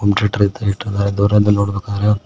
home theatre ಇಟ್ಟಿದ್ದಾರೆ ದೂರದಲ್ಲಿ ನೋಡಬೇಕಾದರೆ--